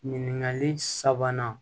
Ɲininkali sabanan